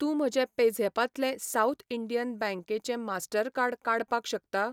तूं म्हजें पेझॅपातलें साउथ इंडियन बँकेचें मास्टरकार्ड काडपाक शकता?